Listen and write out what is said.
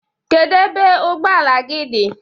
Kedu ebe ụgbọ ala gị di?